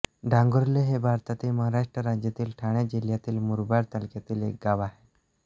डांगुर्ले हे भारतातील महाराष्ट्र राज्यातील ठाणे जिल्ह्यातील मुरबाड तालुक्यातील एक गाव आहे